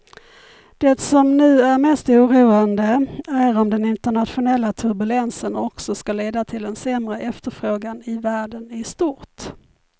Det som nu är mest oroande är om den internationella turbulensen också ska leda till en sämre efterfrågan i världen i stort.